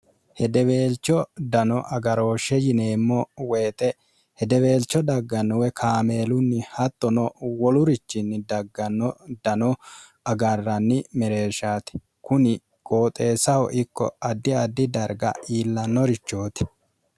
hedeweelcho dano agarooshshe yineemmo woyixe hedeweelcho daggannowe kaameelunni hattono wolurichinni dagganno dano agarranni mereeshshaati kuni gooxeessaho ikko addi addi darga iillannorichooti